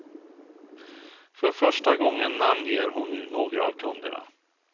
För första gången namnger hon nu några av kunderna.